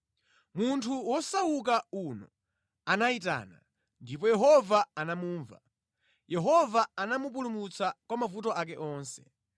Munthu wosauka uno anayitana, ndipo Yehova anamumva; Yehova anamupulumutsa ku mavuto ake onse.